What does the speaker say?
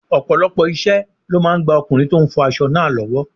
Ọ̀pọ̀lọpọ̀ iṣẹ́ ló máa ń gba ọkùnrin tó ń fọ aṣọ náà lọ́wọ́.